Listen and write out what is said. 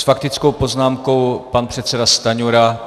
S faktickou poznámkou pan předseda Stanjura.